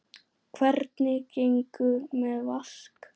Hvernig gengur með Vask?